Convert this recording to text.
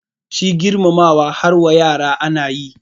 Shi girmamawa har wa yara ana yi